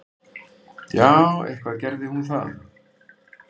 Já, eitthvað gerði hún það.